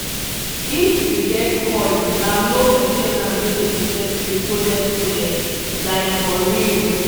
if you get coil na low main ten ance wey dey protect you coded coded. like for real